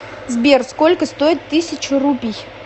сбер сколько стоит тысяча рупий